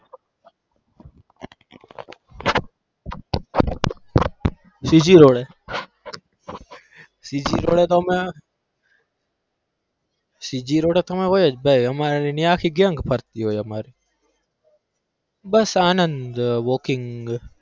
CG road એ CG road એ તો અમે CG road એતો અમે હોઈએ જ ભાઈ અમારી આખી gang ફરતી હોય અમાર બસ આનંદ walking